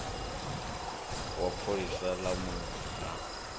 wa pholisa ḽa munna a